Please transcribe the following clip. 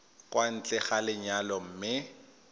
kwa ntle ga lenyalo mme